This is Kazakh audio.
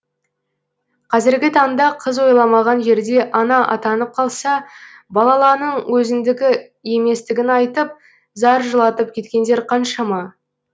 қазіргі таңда қыз ойламаған жерде ана атанып қалса балаланың өзіңдікі еместігін айтып зар жылатып кеткендер қаншама